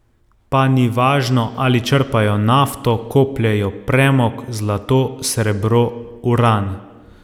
Pa ni važno, ali črpajo nafto, kopljejo premog, zlato, srebro, uran ...